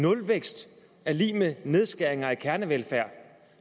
nulvækst er lig med nedskæringer i kernevelfærd